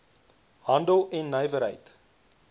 handel en nywerheid